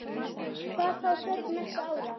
Hvað þá þörf næstu ára.